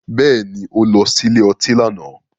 Bẹ́ẹ̀ni, ó lọ sí ilé ọtí lánàá.